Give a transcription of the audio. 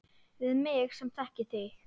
Við mig sem þekki þig.